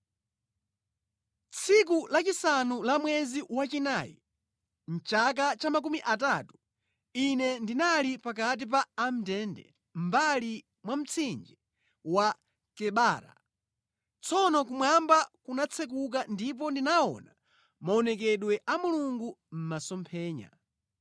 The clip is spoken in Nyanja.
Tsiku lachisanu la mwezi wachinayi, chaka cha makumi atatu, ine ndinali pakati pa amʼndende mʼmbali mwa mtsinje wa Kebara. Tsono kumwamba kunatsekuka ndipo ndinaona maonekedwe a Mulungu mʼmasomphenya.